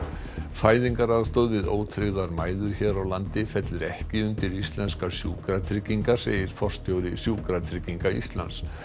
fæðingaraðstoð við ótryggðar mæður hér á landi fellur ekki undir íslenskar sjúkratryggingar segir forstjóri Sjúkratrygginga Íslands